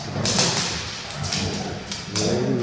Mas ele era um cara bacana, na minha opinião. Ele